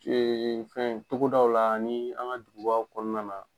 fɛn togodaw la ani an ka jugubaw kɔnɔna na